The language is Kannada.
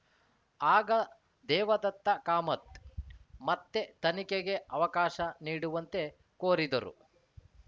ಆಗ ದೇವದತ್ತ ಕಾಮತ್‌ ಮತ್ತೆ ತನಿಖೆಗೆ ಅವಕಾಶ ನೀಡುವಂತೆ ಕೋರಿದರು